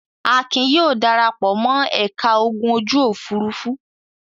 Akin yóò dara pọ̀ mọ́ ẹ̀ka ogun ojú-òfurufú.